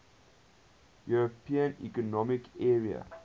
european economic area